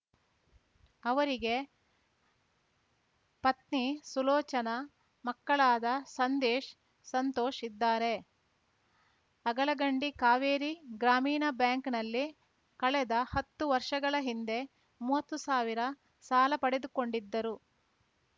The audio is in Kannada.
ಅವರಿಗೆ ಪತ್ನಿ ಸುಲೋಚನಾ ಮಕ್ಕಳಾದ ಸಂದೇಶ್‌ ಸಂತೋಷ್‌ ಇದ್ದಾರೆ ಅಗಳಗಂಡಿ ಕಾವೇರಿ ಗ್ರಾಮೀಣ ಬ್ಯಾಂಕ್‌ನಲ್ಲಿ ಕಳೆದ ಹತ್ತು ವರ್ಷಗಳ ಹಿಂದೆ ಮೂವತ್ತು ಸಾವಿರ ಸಾಲ ಪಡೆದುಕೊಂಡಿದ್ದರು